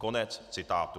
Konec citátu.